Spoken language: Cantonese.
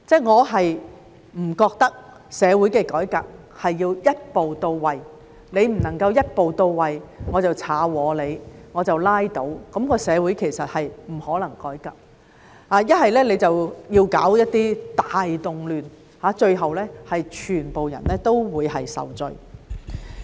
我不認為社會的改革要一步到位，你不能夠一步到位，我就要破壞你，我就拉倒，那麼社會其實是不可能改革的，又或者搞一些大動亂，最後全部人都會受罪。